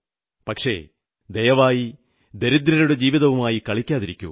പക്ഷേ ദയവായി ദരിദ്രരുടെ ജീവിതവുമായി കളിക്കാതിരിക്കൂ